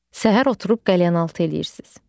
Səhər oturub qəlyanaltı eləyirsiz.